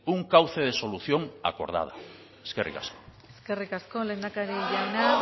un cauce de solución acordada eskerrik asko eskerrik asko lehendakari jauna